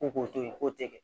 Ko k'o to yen k'o tɛ kɛ